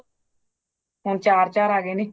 ਹੋਣ ਚਾਰ-ਚਾਰ ਆ ਗਏ ਨੇ ਹਾ